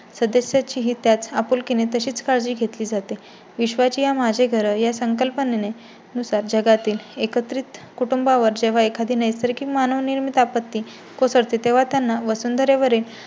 सदस्या ची ही त्याच आपुलकी ने तशीच काळजी घेतली जाते. विश्वचीया माझे घर या संकल्पने नुसार जगातील एकत्रित कुटुंबा वर जेव्हा एखादी नैसर्गिक मानव निर्मित आपत्ती कोसळते तेव्हा त्यांना वसुंधरावरील